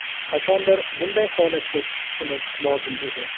Qachondir bunday holatga tushishimiz lozim edi.